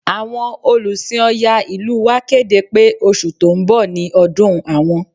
Àwọn Olùsìn Ọya ìlú wa kéde pé oṣù tó ń bọ̀ ni ọdún àwọn